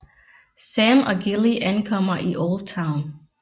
Sam og Gilly ankommer i Oldtown